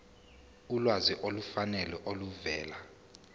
ulwazi olufanele oluvela